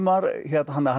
þannig að hann er